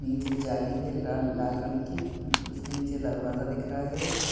नीचे जाली है ला-लाल रंग की उसके नीचे दरवाज़ा दिख रहा है।